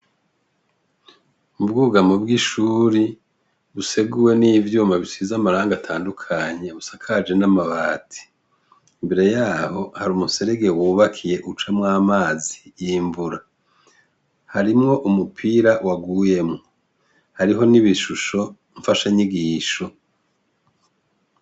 Ubwugamo bw'ishuri, buseguwe n'ivyuma bisize amarangi atandukanye busakaje n'amabati. Imbere yaho harumuserege w'ubakiye ucamw'amazi y'imvura, harimwo umupira waguyemwo. Hariho n'ibishusho mfasha nyigisho.